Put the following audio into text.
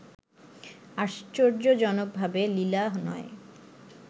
আশ্চর্যজনকভাবে লীলা নয়